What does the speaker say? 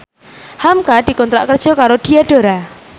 hamka dikontrak kerja karo Diadora